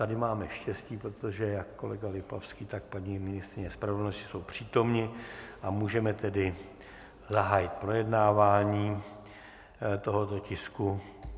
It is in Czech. Tady máme štěstí, protože jak kolega Lipavský, tak paní ministryně spravedlnosti jsou přítomni, a můžeme tedy zahájit projednávání tohoto tisku.